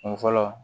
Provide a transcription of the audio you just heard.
Kun fɔlɔ